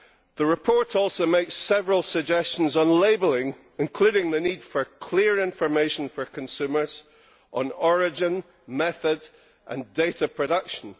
The report also makes several suggestions on labelling, including the need for clear information for consumers on origin, method and data production.